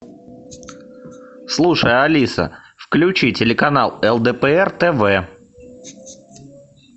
слушай алиса включи телеканал лдпр тв